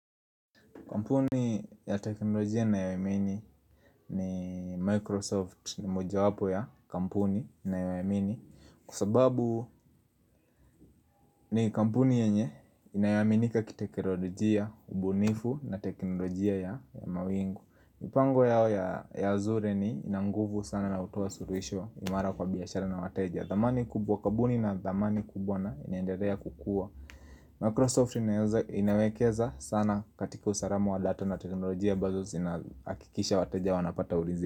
Kampuni ya teknolojia ninayoamini ni Microsoft ni moja wapo ya kampuni ninayoeamini Kusababu ni kampuni yenye inayaminika ki teknolojia ubunifu na teknolojia ya mawingu mipango yao ya azure ni inanguvu sana na hutoa suluhisho imara kwa biashara na wateja Kabuni na thamani kubwa na iniendelea kukua Microsoft inawekeza sana katika usalamu wa data na teknolojia ambazo zinaakikisha wataja wanapata ulinzi.